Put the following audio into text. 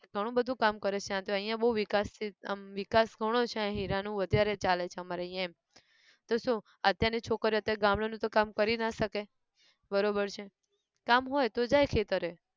ઘણું બધું કામ કરે છે તો અહીંયા બઉ વિકાસિત અમ વિકાસ ઘણો છે અહીં હીરા નું અત્યારે ચાલે છે અમારે અહીંયા એમ, તો શુ? અત્યાર ની છોકરીઓ અત્યાર ગામડાં નું તો કામ કરી ના શકે બરોબર છે, કામ હોય તો જાય ખેતરે